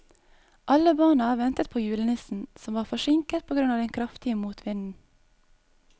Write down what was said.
Alle barna ventet på julenissen, som var forsinket på grunn av den kraftige motvinden.